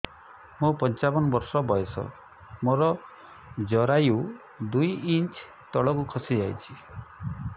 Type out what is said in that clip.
ମୁଁ ପଞ୍ଚାବନ ବର୍ଷ ବୟସ ମୋର ଜରାୟୁ ଦୁଇ ଇଞ୍ଚ ତଳକୁ ଖସି ଆସିଛି